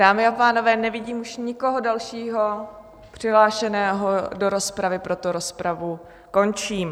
Dámy a pánové, nevidím už nikoho dalšího přihlášeného do rozpravy, proto rozpravu končím.